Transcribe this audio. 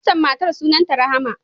Waccan matar sunanta Rahama.